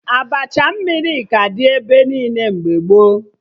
Abacha mmiri ka dị ebe niile mgbe gboo